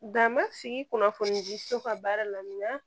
Da ma sigi kunnafoni di so ka baara la